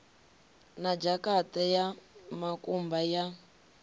na dzhakate ya mukumba ya